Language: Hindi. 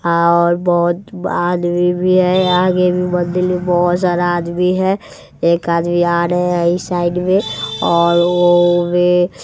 और बहोत ब आदमी भी है आगे भी मंदिल में बहोत सारा आदमी है एक आदमी आ रहे हैं इस साइड में और ऊ भी --